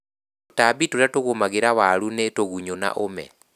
Tũtambi tũrĩa tũgũmagĩra waru nĩ tũgunyũ na ũme